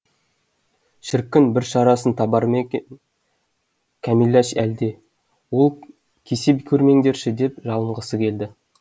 шіркін бір шарасын табар ма екен кәмиләш әлде ол кесе көрмеңдерші деп жалынғысы келді